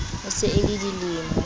e se e le dilemo